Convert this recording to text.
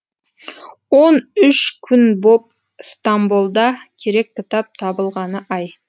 он үш күн боп стамболда керек кітап табылғаны ай